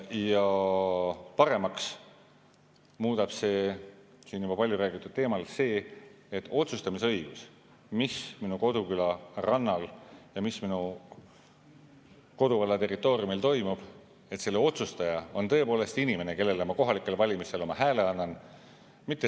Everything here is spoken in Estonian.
Ja paremaks muutub siin juba palju räägitud teemal see, et õigus otsustada, mis minu koduküla rannal ja mis minu koduvalla territooriumil toimub, on tõepoolest inimestel, kellele ma kohalikel valimistel oma hääle annan.